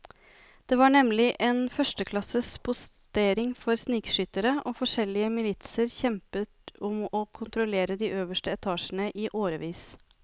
Det var nemlig en førsteklasses postering for snikskyttere, og forskjellige militser kjempet om å kontrollere de øverste etasjene i årevis.